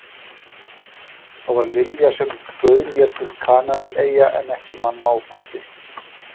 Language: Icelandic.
Það var Lilja sem bauð mér til Kanaríeyja en ekki mamma og pabbi.